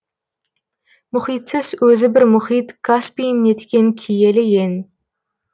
мұхитсыз өзі бір мұхит каспиім неткен киелі ең